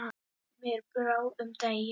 Mér brá um daginn.